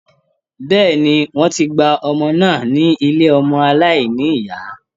Bẹ́ẹ̀ni, wọ́n ti gba ọmọ náà ní ilé ọmọ aláìnìyá.